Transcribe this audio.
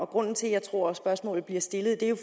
grunden til at jeg tror spørgsmålet bliver stillet